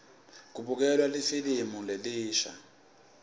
kubukelwa lifilimu lelisha